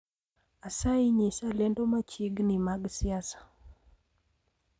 Asayi nyisa lendo machiegni mag siasa